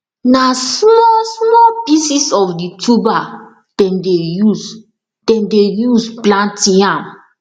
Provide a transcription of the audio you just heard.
na smallsmall pieces of the tuber dem de use dem de use plant yam